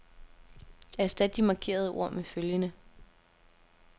Erstat de markerede ord med følgende.